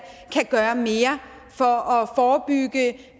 kan gøre mere for at forebygge